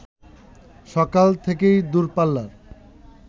সকাল থেকেই দূরপাল্লার